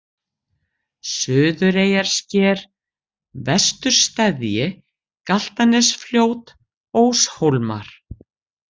Suðureyjarsker, Vestursteðji, Galtanesfljót, Óshólar